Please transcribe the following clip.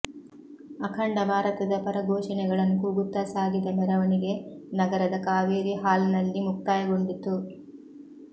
ಅಖಂಡ ಭಾರತದ ಪರ ಘೋಷಣೆಗಳನ್ನು ಕೂಗುತ್ತಾ ಸಾಗಿದ ಮೆರವಣಿಗೆ ನಗರದ ಕಾವೇರಿ ಹಾಲ್ನಲ್ಲಿ ಮುಕ್ತಾಯಗೊಂಡಿತು